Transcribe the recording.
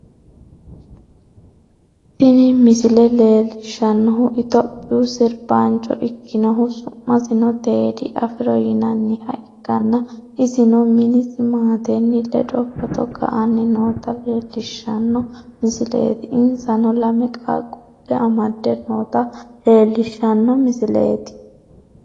tini misile leellishshannohu itophiyu sirbaancho ikkinhu su'masino teedi afiro yinanniha ikkanna, isino minisi maatenni ledo footo ka'anni noota leelishshanni misileeti, insano lame qaaqqulle amadde noota leellishshanno misileeti.